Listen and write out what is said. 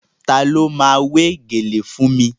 Ta ló ma wé gèlè fún mi?